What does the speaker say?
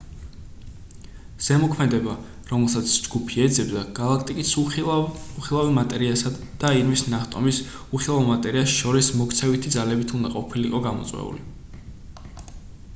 ზემოქმედება რომელსაც ჯგუფი ეძებდა გალაქტიკის უხილავი მატერიასა და ირმის ნახტომის უხილავ მატერიას შორის მოქცევითი ძალებით უნდა ყოფილიყო გამოწვეული